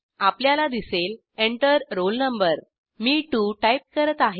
आपल्याला दिसेल Enter roll no मी 2 टाईप करत आहे